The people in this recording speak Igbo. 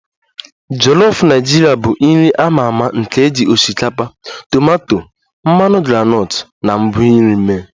Jolof Naijiria bụ nri a ma ama nke e ji osikapa, tomato, mmanụ groundnut na ngwa nri mee